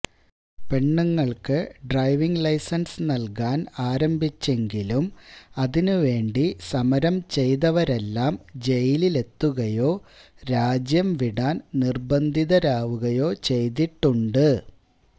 പെണ്ണുങ്ങള്ക്ക് driving licence നല്കാന് ആരംഭിച്ചെങ്കിലും അതിന് വേണ്ടി സമരം ചെയ്തവരെല്ലാം ജയിലിലെത്തുകയോ രാജ്യം വിടാന് നിര്ബന്ധിതരാവുകയോ ചെയ്തിട്ടുണ്ട്